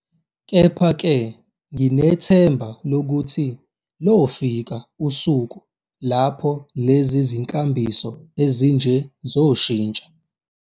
Kepha-ke, nginethemba lokuthi lofika usuku lapho lezi zinkambiso ezinje zoshintsha.